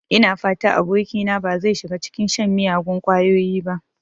Ina fata abokina ba zai shiga cikin shan miyagun ƙwayoyi ba.